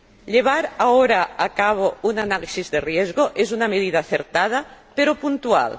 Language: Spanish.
Llevar ahora a cabo un análisis de riesgo es una medida acertada, pero puntual.